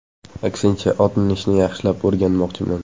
Aksincha, ot minishni yaxshilab o‘rganmoqchiman.